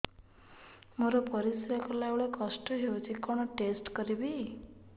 ମୋର ପରିସ୍ରା ଗଲାବେଳେ କଷ୍ଟ ହଉଚି କଣ ଟେଷ୍ଟ କରିବି